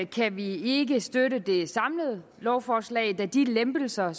kan vi ikke støtte det samlede lovforslag da de lempelser